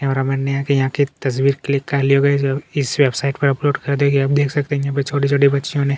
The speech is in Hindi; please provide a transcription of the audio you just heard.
कैमरा मेन ने आके यहाँ की तस्वीर क्लिक करली होगी इस वेबसाइट पे अपलोड क्र दी होगी आप देख सकते है यहाँ पे छोटी-छोटी बच्चियो ने--